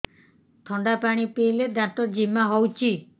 ଥଣ୍ଡା ପାଣି ପିଇଲେ ଦାନ୍ତ ଜିମା ହଉଚି